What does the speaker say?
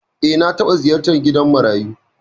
Eh, na taɓa ziyartar gidan marayu.